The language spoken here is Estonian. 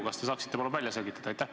Kas te saaksite palun välja selgitada?